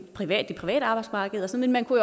private arbejdsmarked men man kunne